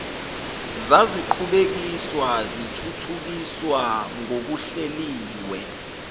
zaziqhubekiswa zithuthukiswa ngokuhleliwe